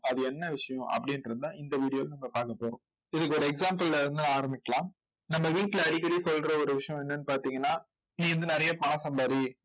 அது என்ன விஷயம் அப்படின்னு இருந்தா இந்த video ல நம்ம பார்க்க போறோம். இதுக்கு ஒரு example ல இருந்து ஆரம்பிக்கலாம். நம்ம வீட்ல அடிக்கடி சொல்ற ஒரு விஷயம் என்னன்னு பார்த்தீங்கன்னா நீ வந்து நிறைய பணம் சம்பாதி